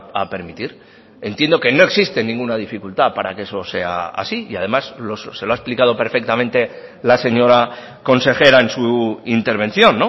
a permitir entiendo que no existe ninguna dificultad para que eso sea así y además se lo ha explicado perfectamente la señora consejera en su intervención